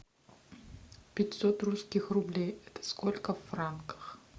пятьсот русских рублей это сколько в франках